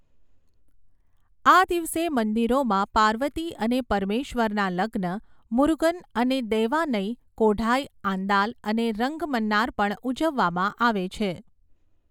આ દિવસે મંદિરોમાં પાર્વતી અને પરમેશ્વરના લગ્ન, મુરુગન અને દૈવાનઈ, કોઢાઈ આંદાલ અને રંગમન્નાર પણ ઉજવવામાં આવે છે.